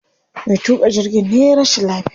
Me tuƙa jirgin ne yayi rashin lafiya.